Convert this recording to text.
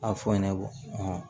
A fɔ ɲɛnabɔ